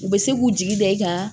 U bɛ se k'u jigi da i kan